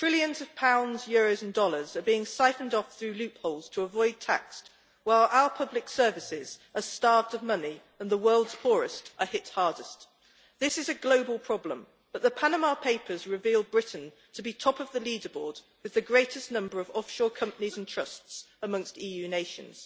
Trillions of pounds, euros and dollars are being siphoned off through loopholes to avoid tax, while our public services are starved of money and the world's poorest are hit hardest. This is a global problem but the Panama Papers revealed Britain to be top of the leader board, with the greatest number of offshore companies and trusts amongst EU nations.